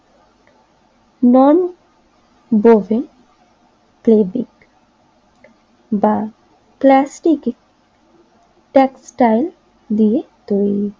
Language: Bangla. নন বোর্ডের ফেব্রিক বা প্লাস্টিকের টেক্সটাইল দিয়ে তৈরি।